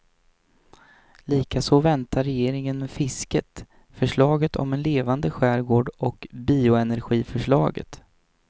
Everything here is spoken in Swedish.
Likaså väntar regeringen med fisket, förslaget om en levande skärgård och bioenergiförslaget.